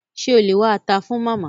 Ṣé o lè wá ata fun Màmá?